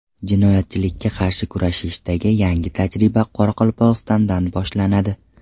Jinoyatchilikka qarshi kurashishdagi yangi tajriba Qoraqalpog‘istondan boshlanadi.